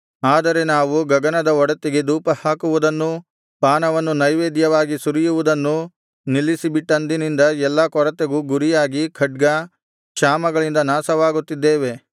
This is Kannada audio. ಆದರೆ ನಾವು ಗಗನದ ಒಡತಿಗೆ ಧೂಪಹಾಕುವುದನ್ನೂ ಪಾನವನ್ನು ನೈವೇದ್ಯವಾಗಿ ಸುರಿಯುವುದನ್ನೂ ನಿಲ್ಲಿಸಿಬಿಟ್ಟಂದಿನಿಂದ ಎಲ್ಲಾ ಕೊರತೆಗೂ ಗುರಿಯಾಗಿ ಖಡ್ಗ ಕ್ಷಾಮಗಳಿಂದ ನಾಶವಾಗುತ್ತಿದ್ದೇವೆ